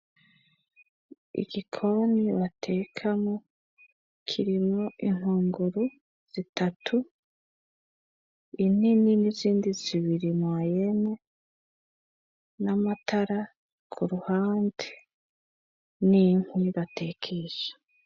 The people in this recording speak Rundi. Igikoni batekamwo kirimwo ingunguru zitatu inini n'izindi zibiri mwayene n'amatara ku ruhande n'inkwi batekesha.